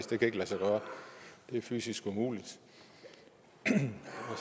det kan ikke lade sig gøre det er fysisk umuligt